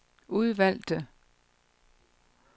udvalgte